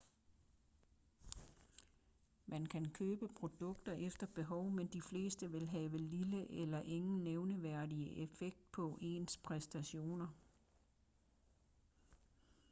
man kan købe produkter efter behov men de fleste vil have lille eller ingen nævneværdig effekt på ens præstationer